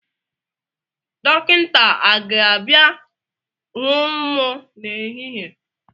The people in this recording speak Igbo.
Dọkịnta a ga-abịa hụ mu na ehihie?